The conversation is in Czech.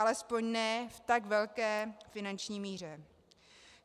Alespoň ne v tak velké finanční míře.